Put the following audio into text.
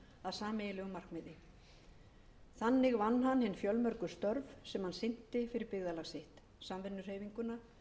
sameiginlegu markmiði þannig vann hann hin fjölmörgu störf sem hann sinnti fyrir byggðarlag sitt samvinnuhreyfinguna